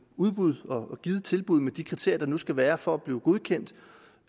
udbud og give et tilbud med de kriterier der nu skal være for at blive godkendt